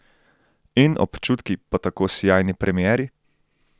In občutki po tako sijajni premieri?